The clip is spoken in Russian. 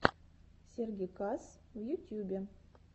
сергиккас в ютьюбе